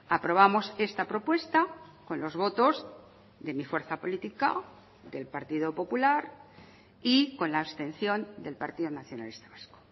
aprobamos esta propuesta con los votos de mi fuerza política del partido popular y con la abstención del partido nacionalista vasco